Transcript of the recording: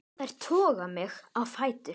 Þær toga mig á fætur.